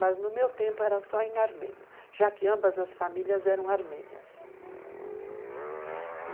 Mas no meu tempo era só em armênio, já que ambas as famílias eram armênias.